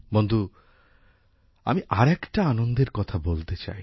বন্ধু আমি আর একটা আনন্দের কথা বলতে চাই